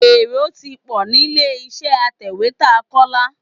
Èrò ti pọ̀ nílé-iṣẹ́ atẹ̀wétà Kọ́lá.